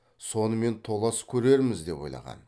сонымен толас көрерміз деп ойлаған